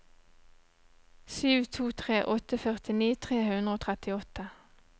sju to tre åtte førtini tre hundre og trettiåtte